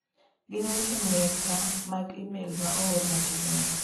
Gin weche meka mag imel ma oor machiegni ni.